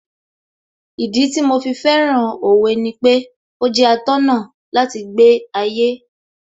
Ìdí tí mo fi fẹ́ràn Òwe ni pé ó jẹ́ atọ́nà láti gbé ayé